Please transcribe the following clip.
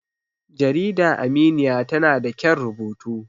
jarida aminiya tana da kyan rubutu